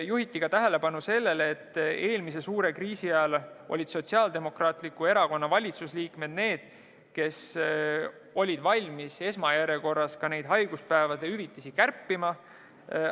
Juhiti tähelepanu ka sellele, et eelmise suure kriisi ajal olid Sotsiaaldemokraatliku Erakonna valitsusliikmed need, kes olid valmis esmajärjekorras neid haiguspäevade hüvitisi kärpima.